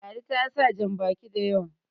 ladi ta sa jan baki da yawa